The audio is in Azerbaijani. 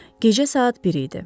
Gecə saat bir idi.